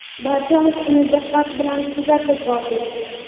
barchamiz uni diqqat bilan kuzatib bordik.